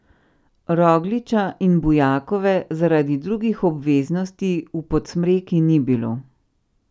Rogliča in Bujakove zaradi drugih obveznosti v Podsmreki ni bilo.